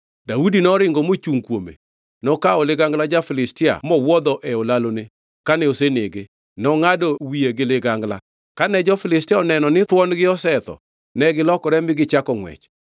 Daudi noringo mochungʼ kuome. Nokawo ligangla ja-Filistia mowuodho e olalone kane osenege, nongʼado wiye gi ligangla. Kane jo-Filistia oneno ni thuon-gi osetho negilokore mi gichako ngʼwech.